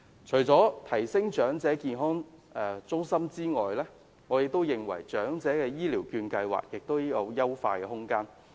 除了提升長者健康中心的服務之外，我認為長者醫療券計劃亦有優化的空間。